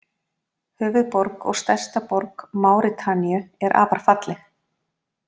Höfuðborg og stærsta borg Máritaníu er afar falleg.